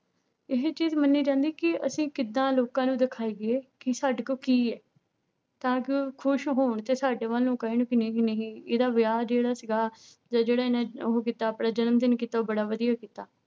ਇਹ ਚੀਜ਼ ਮੰਨੀ ਜਾਂਦੀ ਕਿ ਅਸੀਂ ਕਿੱਦਾਂ ਲੋਕਾਂ ਨੂੰ ਦਿਖਾਈਏ ਕਿ ਸਾਡੇ ਕੋਲ ਕੀ ਹੈ, ਤਾਂ ਕਿ ਉਹ ਖ਼ੁਸ਼ ਹੋਣ ਤੇ ਸਾਡੇ ਵੱਲ ਨੂੰ ਕਹਿਣ ਵੀ ਨਹੀਂ ਨਹੀਂ ਇਹਦਾ ਵਿਆਹ ਜਿਹੜਾ ਸੀਗਾ ਜਾਂ ਜਿਹੜਾ ਇਹਨੇ ਉਹ ਕੀਤਾ ਆਪਣਾ ਜਨਮ ਦਿਨ ਕੀਤਾ ਉਹ ਬੜਾ ਵਧੀਆ ਕੀਤਾ।